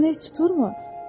O kəpənək tuturmu?